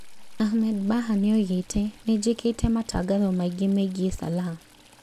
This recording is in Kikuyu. Ahmed Bahaa nĩoigĩte "nĩnjĩkĩte matangotho maingĩ meigiĩ Salah"